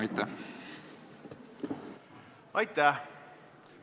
Aitäh!